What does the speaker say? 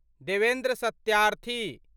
Devendra Satyarthi